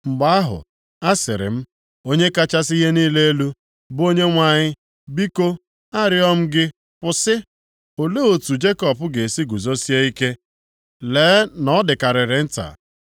Mgbe ahụ, asịrị m, “Onye kachasị ihe niile elu, bụ Onyenwe anyị biko, arịọọ m gị kwụsị! Olee otu Jekọb ga-esi guzosie ike? Lee na ọ dịkarịrị nta!”